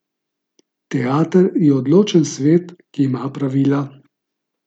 Teater je odločen svet, ki ima pravila.